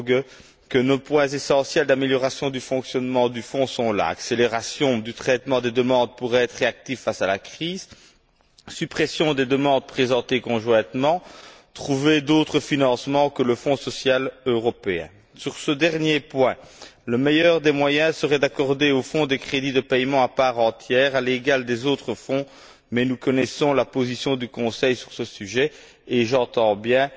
Böge, que les points essentiels d'amélioration du fonctionnement du Fonds sont là accélération du traitement des demandes pour être réactifs face à la crise, suppression des demandes présentées conjointement, recours à d'autres financements que ceux du Fonds social européen. Sur ce dernier point, la meilleure solution serait d'accorder au Fonds des crédits de paiements à part entière, à l'égal des autres Fonds, mais nous connaissons la position du Conseil sur ce sujet et j'entends bien